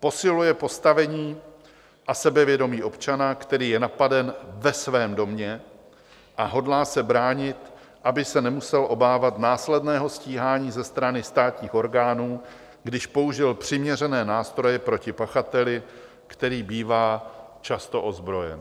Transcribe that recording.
Posiluje postavení a sebevědomí občana, který je napaden ve svém domě, a hodlá se bránit, aby se nemusel obávat následného stíhání ze strany státních orgánů, když použil přiměřené nástroje proti pachateli, který bývá často ozbrojen.